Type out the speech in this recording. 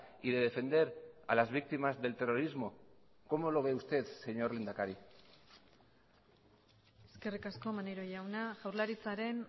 y de defender a las víctimas del terrorismo cómo lo ve usted señor lehendakari eskerrik asko maneiro jauna jaurlaritzaren